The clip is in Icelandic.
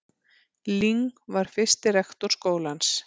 Ling var fyrsti rektor skólans.